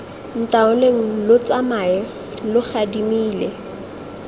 ntaoleng lo tsamae lo gadimile